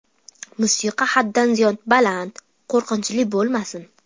Musiqa haddan ziyod baland, qo‘rqinchli bo‘lmasin.